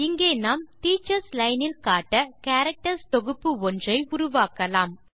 இங்கே நாம் teachers line இல் காட்ட கேரக்டர்ஸ் தொகுப்பு ஒன்றை உருவாக்கலாம்